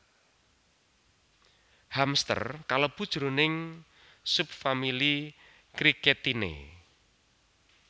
Hamster kalebu jroning subfamili cricetinae